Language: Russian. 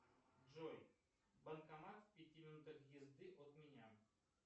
джой банкомат в пяти минутах езды от меня